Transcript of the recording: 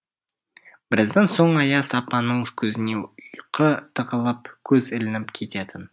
біраздан соң аяз апаның көзіне ұйқы тығылып көзі ілініп кететін